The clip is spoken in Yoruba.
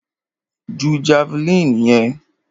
Ju javeline yẹn!